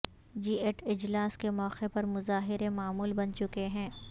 جی eight اجلاس کے موقع پر مظاہرے معمول بن چکے ہیں